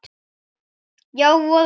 Já, voða erfitt.